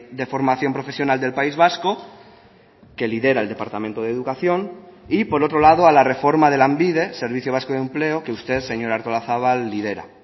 de formación profesional del país vasco que lidera el departamento de educación y por otro lado a la reforma de lanbide servicio vasco de empleo que usted señora artolazabal lidera